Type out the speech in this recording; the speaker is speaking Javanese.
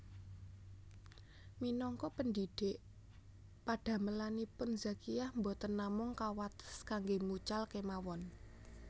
Minangka pendhidhik padamelanipun Zakiah boten namung kawates kangge mucal kemawon